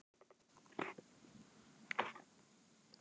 Bara gott.